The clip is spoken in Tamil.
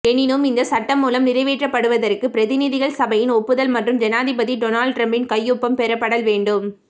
எனினும் இந்த சட்டமூலம் நிறைவேற்றப்படுவதற்கு பிரதிநிதிகள் சபையின் ஒப்புதல் மற்றும் ஜனாதிபதி டொனால்ட் டிரம்பின் கையொப்பம் பெறப்படல் வேண்டும்